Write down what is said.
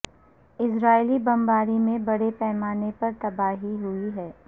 اسرائیلی بمباری میں بڑے پیمانے پر تباہی ہوئی ہے